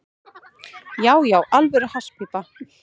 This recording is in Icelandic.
Já, já, alvöru hasspípa.